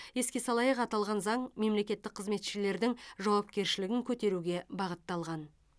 еске салайық аталған заң мемлекеттік қызметшілердің жауапкершілігін көтеруге бағытталған